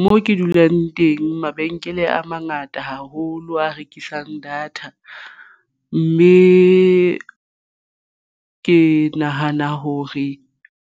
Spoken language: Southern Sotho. Mo ke dulang teng mabenkele a mangata haholo a rekisang data mme ke nahana hore